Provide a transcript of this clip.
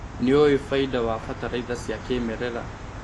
Nĩũĩ bainda wa bataraitha cia kĩmerera.